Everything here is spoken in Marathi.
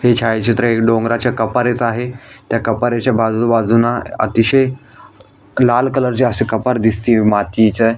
हे छायाचित्र एक डोंगराच्या कपारीचं आहे त्या कपारीच्या बाजू बाजूनं अतिशय लाल कलर ची अशी कपार दिसतीये मातीच्या --